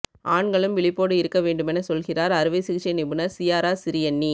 ஆண்களும் விழிப்போடு இருக்க வேண்டுமென சொல்கிறார் அறுவை சிகிச்சை நிபுணர் சியாரா சிரியன்னி